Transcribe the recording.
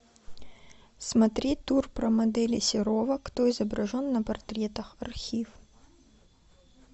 смотреть тур про моделей серова кто изображен на портретах архив